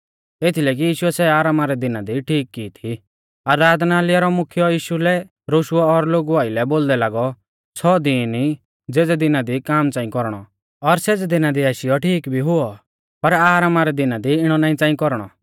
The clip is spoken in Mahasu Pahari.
एथीलै कि यीशुऐ सै आरामा रै दिना दी ठीक की थी आराधनालय रौ मुख्यौ यीशु लै रोशुऔ और लोगु आइलै बोलदै लागौ छ़ौ दीन ई ज़ेज़े दिना दी काम च़ांई कौरणौ और सेज़ै दिना दी आशीयौ ठीक भी हुऔ पर आरामा रै दिना दी इणौ नाईं च़ांई कौरणौ